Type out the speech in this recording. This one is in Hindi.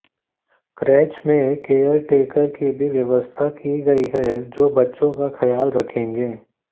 क्रेच में केयर टेकर की भी व्यवस्था की गई है जो बच्चों का ख्याल रखेंगे